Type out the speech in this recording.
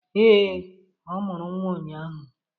Ee, ọ mụrụ nwa ụnyaahụ